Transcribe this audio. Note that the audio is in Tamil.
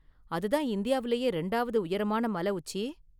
அதுதான இந்தியாவுலேயே ரெண்டாவது உயரமான​ மல உச்சி?